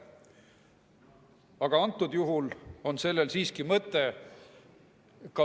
Aga antud juhul on sellel siiski mõte.